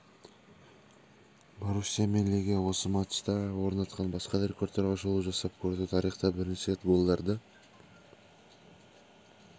боруссия мен легия осы матчта орнатқан басқа да рекордтарға шолу жасап көрді тарихта бірінші рет голдарды